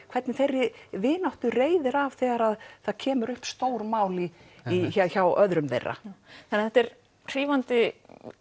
hvernig þeirri vináttu reiðir af þegar það kemur upp stórmál hjá öðrum þeirra þannig að þetta er hrífandi